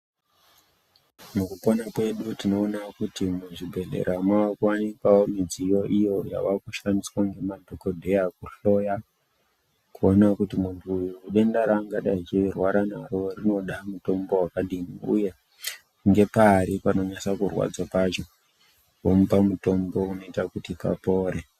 Mukupona kwedu tinoona kuti muzvibhedhlera mwakuwanikwawo midziyo iyo yavakushandiswa Nemadhokodheya kuhloya kuona kuti muntu uyu denda raangadai eirwara naro rinoda mutombo wakadii uye ngepari panonyasa kurwadza pacho omupa mutombo unoita kuti papore.